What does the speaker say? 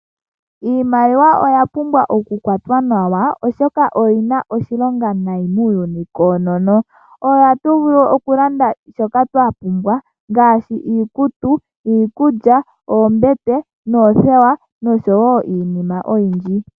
Iimaliwa oya pumbwa oku kwatwa nawa oshoka oyi na oshilonga nayi muuyuni koonono. Oyo hatu vulu oku landa nayo shoka twa pumbwa ngaashi iikutu, iikulya, oombete, oothewa osho wo iinima oyindji.